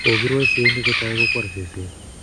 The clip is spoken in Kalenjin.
Kokirwaise yekingotau kokwor seset